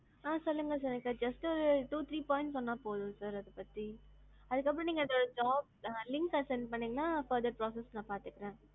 ஆ சொல்லுங்க sir just ஒரு two three points சொன்னா போதும் sir அதப்பத்தி அதுக்கப்பறம் நீங்க அந்த job link அ send பன்னிங்கன்னா நான் further details பாத்துக்குறேன்.